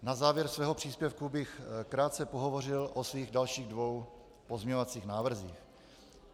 Na závěr svého příspěvku bych krátce pohovořil o svých dalších dvou pozměňovacích návrzích.